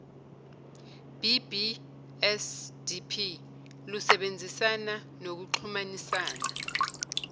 bbsdp lusebenzisana nokuxhumanisana